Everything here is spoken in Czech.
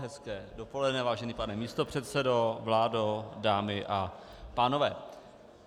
Hezké dopoledne, vážený pane místopředsedo, vládo, dámy a pánové.